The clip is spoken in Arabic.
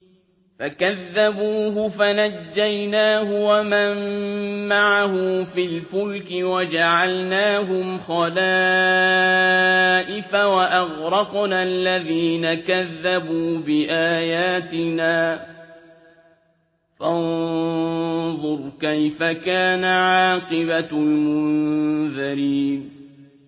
فَكَذَّبُوهُ فَنَجَّيْنَاهُ وَمَن مَّعَهُ فِي الْفُلْكِ وَجَعَلْنَاهُمْ خَلَائِفَ وَأَغْرَقْنَا الَّذِينَ كَذَّبُوا بِآيَاتِنَا ۖ فَانظُرْ كَيْفَ كَانَ عَاقِبَةُ الْمُنذَرِينَ